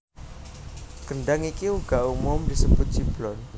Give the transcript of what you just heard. Kendhang iki uga umum disebut ciblon